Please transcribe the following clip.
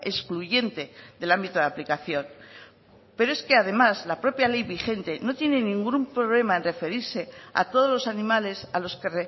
excluyente del ámbito de aplicación pero es que además la propia ley vigente no tiene ningún problema en referirse a todos los animales a los que